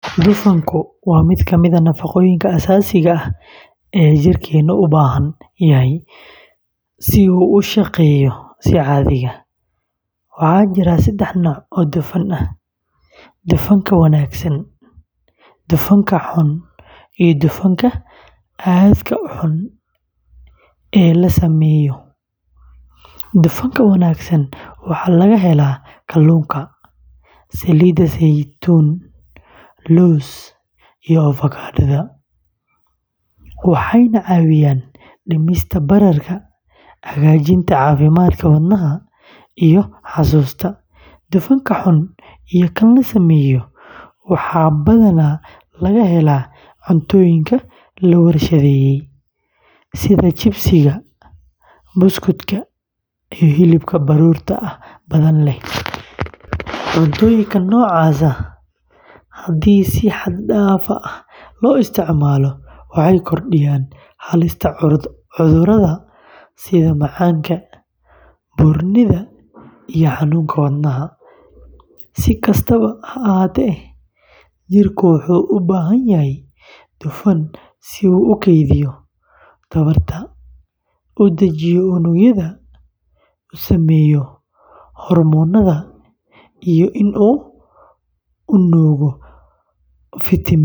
Dufanku waa mid ka mid ah nafaqooyinka aasaasiga ah ee jirkeennu u baahan yahay si uu u shaqeeyo si caadi ah. Waxaa jira saddex nooc oo dufan ah: dufanka wanaagsan, dufanka xun, iyo dufanka aadka u xun ee la sameeyo. Dufanka wanaagsan waxaa laga helaa kalluunka, saliid saytuun, laws, iyo avokado; waxay caawiyaan dhimista bararka, hagaajinta caafimaadka wadnaha, iyo xasuusta. Dufanka xun iyo kan la sameeyo waxaa badanaa laga helaa cuntooyinka la warshadeeyay, sida chips-ka, buskudka, iyo hilibka baruurta badan leh. Cuntooyinka noocaas ah haddii si xad dhaaf ah loo isticmaalo waxay kordhiyaan halista cudurrada sida macaanka, buurnida, iyo xanuunka wadnaha. Si kastaba ha ahaatee, jirku wuxuu u baahan yahay dufan si uu u kaydiyo tamarta, u dajiyo unugyada, u sameeyo hormoonnada, iyo in uu nuugo fiitamiinno.